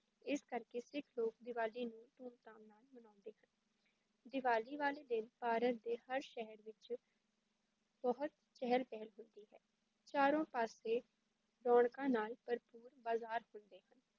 ਇਸ ਕਰਕੇ ਸਿੱਖ ਲੋਕ ਦੀਵਾਲੀ ਨੂੰ ਧੂਮਧਾਮ ਨਾਲ ਮਨਾਉਂਦੇ ਹਨ ਦੀਵਾਲੀ ਵਾਲੇ ਦਿਨ ਭਾਰਤ ਦੇ ਹਰ ਸ਼ਹਿਰ ਵਿੱਚ ਬਹੁਤ ਚਹਿਲ ਪਹਿਲ ਹੁੰਦੀ ਹੈ ਚਾਰੋ ਪਾਸੇ ਰੌਣਕਾਂ ਨਾਲ ਭਰਪੂਰ ਬਾਜ਼ਾਰ ਹੁੰਦੇ ਹਨ।